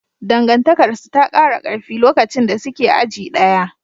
Dangantakarsu ta kara karfi lokacin da suke aji ɗaya.